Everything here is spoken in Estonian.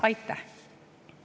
Aitäh!